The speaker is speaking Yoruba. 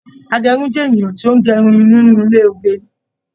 Agérun jẹ ènìyàn ti o n gé irun nínú ilé oge